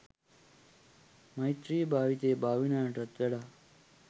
මෛත්‍රියේ භාවිතය භාවනාවටත් වඩා